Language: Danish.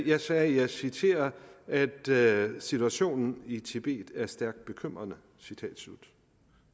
jeg sagde at jeg citerer at situationen i tibet er stærkt bekymrende citat slut